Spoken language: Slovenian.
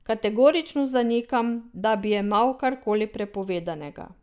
Kategorično zanikam, da bi jemal karkoli prepovedanega.